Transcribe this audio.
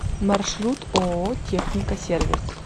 маршрут ооо техника сервис